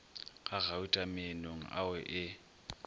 ga gauta meenong ao e